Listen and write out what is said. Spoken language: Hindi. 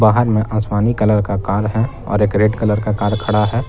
बाहर में आसमानी कलर का कार है और एक रेड कलर का कार खड़ा है।